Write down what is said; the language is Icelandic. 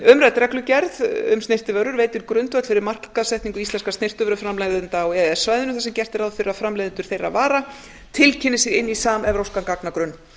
umrædd reglugerð um snyrtivörur veitir grundvöll fyrir markaðssetningu íslenskra snyrtivöruframleiðenda á e e s svæðinu þar sem gert er ráð fyrir að framleiðendur þeirra vara tilkynni sig inn í samevrópskan gagnagrunn